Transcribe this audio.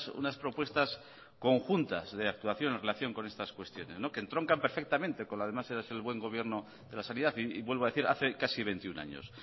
unas propuestas conjuntas de actuación en relación con estas cuestiones que entroncan perfectamente con la máxima del buen gobierno de la sanidad y vuelvo a decir hace casi veintiuno años